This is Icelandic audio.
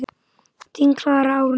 Þín Klara Árný.